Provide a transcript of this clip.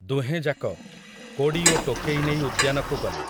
ଦୁହେଁଯାକ, କୋଡ଼ି ଓ ଟୋକେଇ ନେଇ ଉଦ୍ୟାନକୁ ଗଲେ ।